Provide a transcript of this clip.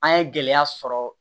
An ye gɛlɛya sɔrɔ